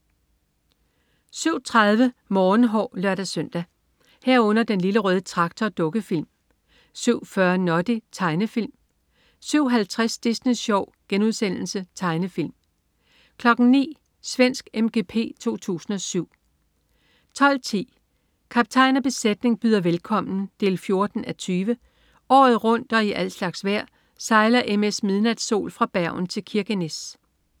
07.30 Morgenhår (lør-søn) 07.30 Den Lille Røde Traktor. Dukkefilm 07.40 Noddy. Tegnefilm 07.50 Disney Sjov.* Tegnefilm 09.00 Svensk MGP 2007 12.10 Kaptajn og besætning byder velkommen 14:20. Året rundt og i al slags vejr sejler MS "Midnatsol" fra Bergen til Kirkenes